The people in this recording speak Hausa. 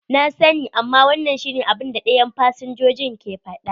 Na sani, amma wannan shi ne abun da dayan fsinjojin ke faɗa.